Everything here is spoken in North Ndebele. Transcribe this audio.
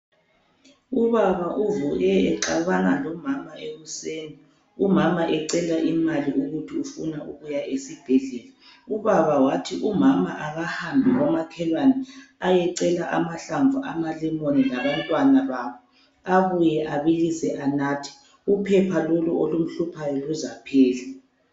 Ubaba uvuke exabana lomama ekuseni, umama ecela imali yokuthi ufuna ukuya esibhedlela. Ubaba wathi umama ahambe komakhelwane ayecela amahlamvu amalemoni labantwana balo abuye abilise anathe uphepha loku olumhluphayo luzaphela.